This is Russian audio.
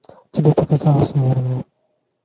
тебе показалось наверное